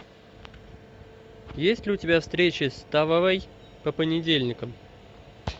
есть ли у тебя встречи с тававой по понедельникам